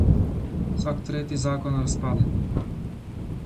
Vsak tretji zakon razpade.